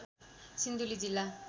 सिन्धुली जिल्ला